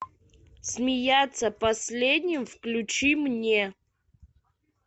смеяться последним включи мне